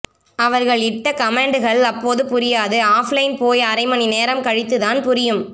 அவர்கள் இட்ட கமென்டுகள் அப்போது புரியாது ஆஃப் லைன் போய் அரைமணி நேரம் கழித்துதான் புரியும்